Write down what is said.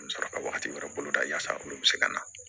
N bɛ sɔrɔ ka wagati wɛrɛ boloda yasa olu bɛ se ka na